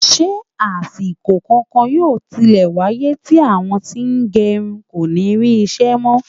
Ṣé àsìkò kankan yóò tilẹ̀ wáyé tí àwọn tí wọ́n ń gẹrun kò ní rí iṣẹ́ mọ́?